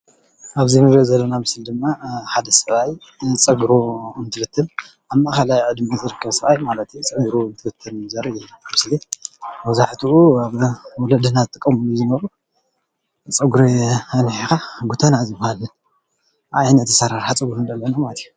ኣብዚ እንሪኦ ዘለና ምስሊ ድማ ሓደ ሰብኣይ ፀግሩ እንትብትን ኣብ ማኣኸላይ ዕድሚኡ ዝርከብ ሰብኣይ ማለት እዩ ። ፀጉሩ እንትብትን ዘርኢ ምስሊ እዩ። መብዛሕትኡ ወለድና ዝጥቀምሉ ዝነበሩ ፀጉሪ ኣንዊሕካ ጎተና ዝባሃል ዓይነት ኣሰራርሓ ፀጉሪ ንርኢ ኣለና ማለት እዩ።